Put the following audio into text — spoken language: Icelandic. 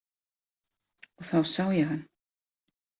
Og þá sá ég hann.